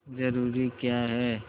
जरूरी क्या है